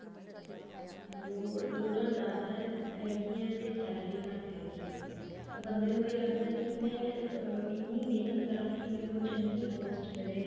ਲੋੜ ਲੋੜਾਂ ਜਿਆਦਾ ਹੈ ਹੈਗੀਆਂ ਤੇ salary ਘੱਟ ਹੈਗੀ ਹੈ ਤਾਂ ਬੰਦੇ ਨੂੰ ਇਹ ਲੱਗਦਾ ਕੀ ਮੈਂ ਇੰਨੀ ਮਿਹਨਤ ਕਰਾਂ ਕੇ ਮੈਨੂੰ ਚੰਗੀ post ਮਿਲੇ